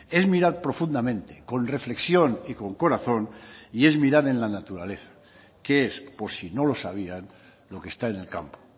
es mirar profundamente con reflexión y con corazón y es mirar en la naturaleza que es por si no lo sabían lo que está en el campo